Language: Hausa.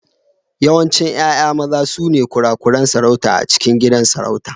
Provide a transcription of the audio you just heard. Yawancin 'ya'ya maza sune kurakuran sarauta a cikin gidan sarauta.